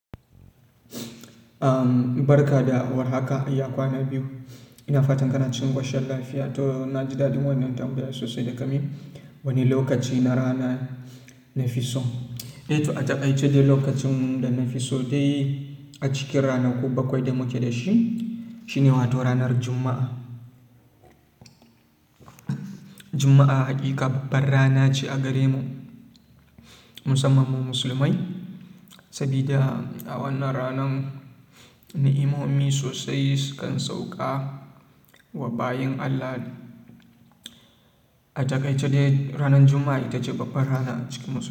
Barka da war haka, ya kwana biyu? Ina fatan kana cikin ƙoshin lafiya. To na ji daɗin wannan tambayar sosai da ka yi. Wani lokaci na rana na fi so? Eh to a taƙaice dai lokacin da na fi so dai a cikin ranaku bakwai da muke da su, shi ne wato ranar Juma'a. Juma'a hakika babbar rana ce a gare mu musamman mu musulmai, sabida a wannan ranan ni'imomi sosai sukan sauka wa bayin Allah. A taƙaice dai ranar Juma'a ita ce babbar rana cikin Musulmai.